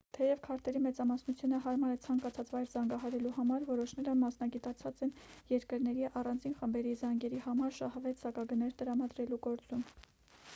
թեև քարտերի մեծամասնությունը հարմար է ցանկացած վայր զանգահարելու համար որոշները մասնագիտացած են երկրների առանձին խմբերի զանգերի համար շահավետ սակագներ տրամադրելու գործում